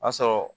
O y'a sɔrɔ